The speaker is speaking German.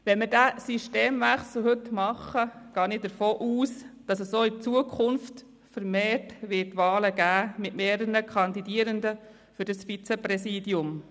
Wenn wir diesen Systemwechsel heute machen, gehe ich davon aus, dass es auch in Zukunft vermehrt Wahlen geben wird mit mehreren Kandidierenden für das Vizepräsidium.